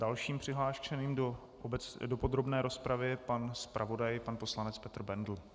Dalším přihlášením do podrobné rozpravy je pan zpravodaj pan poslanec Petr Bendl.